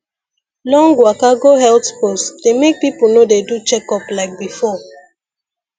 long waka go health post dey make people no dey do checkup like before